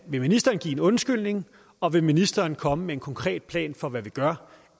vil ministeren give en undskyldning og vil ministeren komme med en konkret plan for hvad man gør